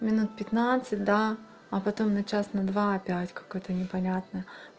минут пятнадцать да а потом на час на два опять какое-то непонятное